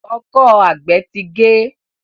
Ọkọ́ àgbè tí gé.